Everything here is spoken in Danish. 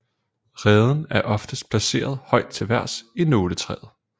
Reden er oftest placeret højt til vejrs i nåletræer